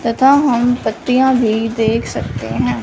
तथा हम पत्तियां भी देख सकते हैं।